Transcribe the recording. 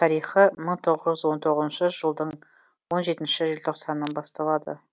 тарихы мың тоғыз жүз он тоғызыншы жылдың он жетінші желтоқсанынан басталады